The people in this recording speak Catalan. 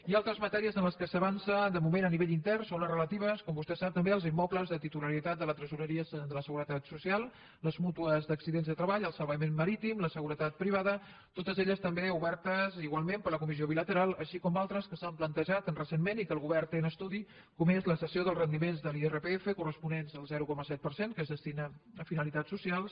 i altres matèries en què s’avança de moment a nivell intern són les relatives com vostè sap també als immobles de titularitat de la tresoreria de la seguretat social les mútues d’accidents de treball el salvament marítim la seguretat privada totes elles també obertes igualment per la comissió bilateral així com altres que s’han plantejat recentment i que el govern té en estudi com és la cessió dels rendiments de l’irpf corresponents al zero coma set per cent que es destina a finalitats socials